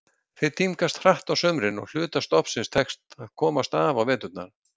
Þeir tímgast hratt á sumrin og hluta stofnsins tekst að komast af á veturna.